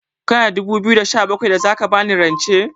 Kana da dubu biyu da ɗari da sha bakwai da za ka ba ni rance?